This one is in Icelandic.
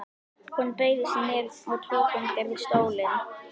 Hún beygði sig niður og tók undir stólinn.